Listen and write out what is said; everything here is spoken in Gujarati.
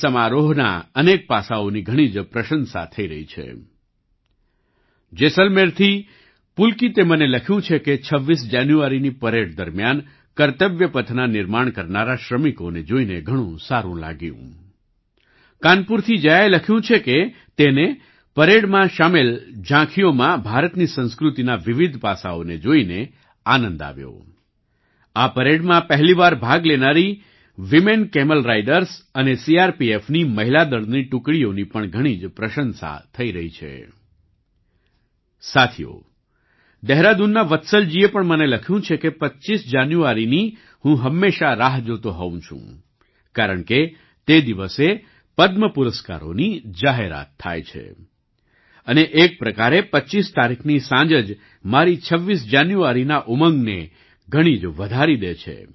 સાથીઓ દેહરાદૂનના વત્સલ જીએ પણ મને લખ્યું છે કે 25 જાન્યુઆરીની હું હંમેશા રાહ જોતો હોવ છું કારણ કે તે દિવસે પદ્મ પુરસ્કારોની જાહેરાત થાય છે અને એક પ્રકારે 25 તારીખની સાંજ જ મારી 26 જાન્યુઆરીના ઉમંગને ઘણી જ વધારી દે છે